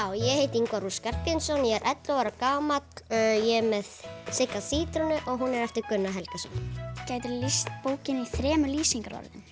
já ég heiti Ingvar ú Skarphéðinsson ég er ellefu ára gamall ég er með Sigga sítrónu og hún er eftir Gunnar Helgason gætiru lýst bókinni í þremur lýsingarorðum